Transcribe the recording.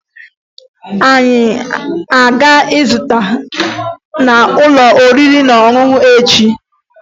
Anyị a ga-ezute n'ụlọ oriri na ọṅụṅụ echi?